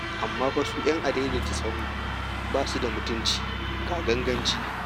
Amma fa su 'yan adaidaidatasahu ba su da mutunci, ga ganganci.